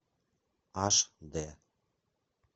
аш д